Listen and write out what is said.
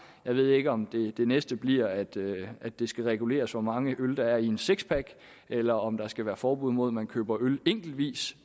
jeg ved ikke om det næste bliver at det at det skal reguleres hvor mange øl der i en sixpack eller om der skal være forbud mod at man køber øl enkeltvis